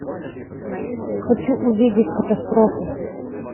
хочу увидеть катастрофу